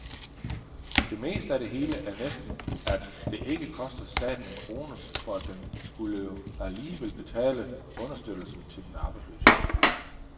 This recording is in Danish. Det bedste af det hele er næsten, at det ikke koster staten en krone, for den skulle jo alligevel betale understøttelsen til den arbejdsløse.